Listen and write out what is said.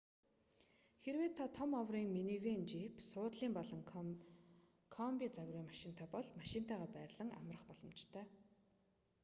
хэрэв та том оврын минивэн жийп суудлын эсвэл комби загварын машинтай бол машинтайгаа байрлан амрах боломжтой